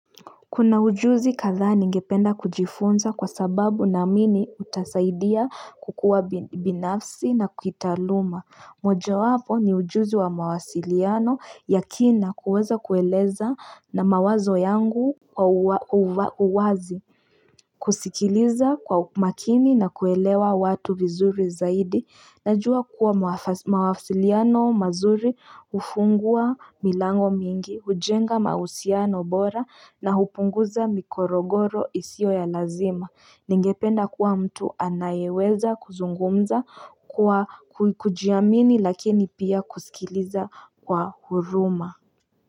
Kuna ujuzi katha ningependa kujifunza kwa sababu naamini utasaidia kukua binafsi na kuitaluma. Moja wapo ni ujuzi wa mawasiliano yakina kuweza kueleza na mawazo yangu uwazi. Kusikiliza kwa makini na kuelewa watu vizuri zaidi. Najua kuwa mawasiliano mazuri ufungua milango mingi, hujenga mausiano bora na hupunguza mikorogoro isio ya lazima. Ningependa kuwa mtu anayeweza kuzungumza kwa kujiamini lakini pia kusikiliza kwa huruma.